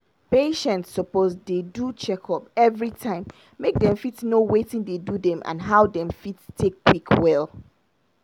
patient suppose dey do checkup everytime make dem fit know watin dey do dem and how dem fit take quick well.